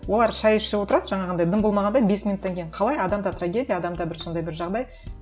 олар шай ішіп отырады жаңағындай дым болмағандай бес минуттан кейін қалай адамда трагедия адамда бір сондай бір жағдай